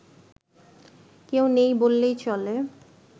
কেউ নেই বললেই চলে